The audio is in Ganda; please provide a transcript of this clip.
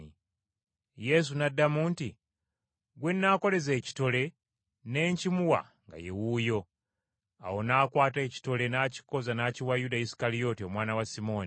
Yesu n’addamu nti, “Gwe nnaakoleza ekitole ne nkimuwa nga ye wuuyo.” Awo n’akwata ekitole, n’akikoza n’akiwa Yuda Isukalyoti omwana wa Simooni.